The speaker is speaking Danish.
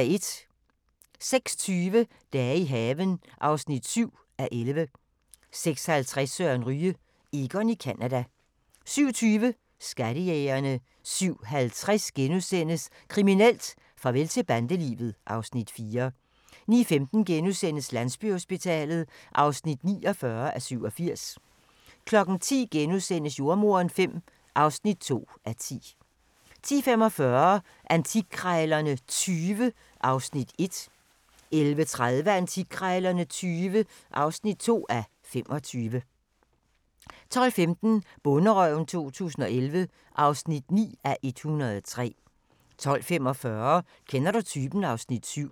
06:20: Dage i haven (7:11) 06:50: Søren Ryge: Egon i Canada 07:20: Skattejægerne 07:50: Kriminelt: Farvel til bandelivet (Afs. 4)* 09:15: Landsbyhospitalet (49:87)* 10:00: Jordemoderen V (2:10)* 10:45: Antikkrejlerne XX (1:25) 11:30: Antikkrejlerne XX (2:25) 12:15: Bonderøven 2011 (9:103) 12:45: Kender du typen? (Afs. 7)